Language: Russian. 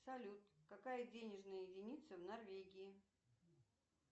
салют какая денежная единица в норвегии